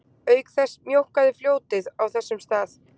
Auk þess mjókkaði fljótið á þessum stað